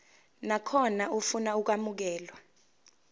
nakhona ofuna ukwamukelwa